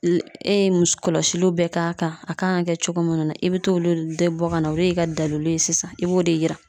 E ye muso kɔlɔsiw bɛɛ k'a kan , a kan ka kɛ cogo munnu na i be t'olu bɛɛ bɔ ka na olu de ka dalilu ye sisan i b'o de yira.